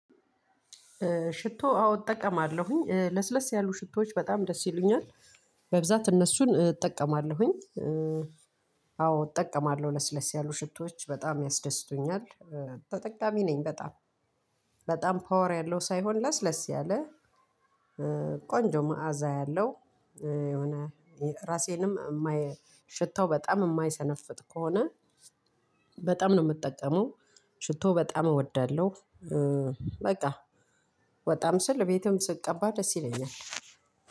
ሽቶ አዎ እጠቀማለሁኝ ለስለስ ያሉ ሽቶዎች በጣም ደስ ይሉኛል በብዛት እነሱን እጠቀማለሁኝ። አዎ እጠቀማለሁ ለስለስ ያሉ ሽቶች በጣም ያስደስቱኛል። ተጠቃሚ ነኝ በጣም በጣም ፓወር ያለው ሳይሆን ለስለስ ያለ። ቆንጆ መዓዛ ያለው የሆነ ራሴንም የማይ ሽታው በጣም የማይሰነፍጥ ከሆነ በጣም ነው የምጠቀመው። ሽቶ በጣም እወዳለሁ። በቃ ወጣም ስል ቤትም ስትቀባ ደስ ይለኛል።